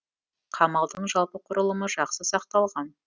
қамалдың жалпы құрылымы жақсы сақталған